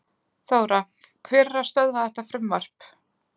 Þóra: Hver er að stöðva þetta frumvarp?